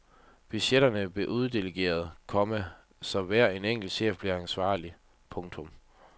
Budgetterne blev uddelegeret, komma så hver enkelt chef blev ansvarlig. punktum